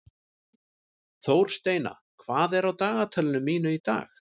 Þórsteina, hvað er á dagatalinu mínu í dag?